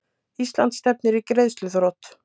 Ísland stefnir í greiðsluþrot